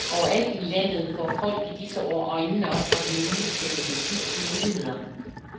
Overalt i landet får folk i disse år øjnene op for den nye teknologis muligheder.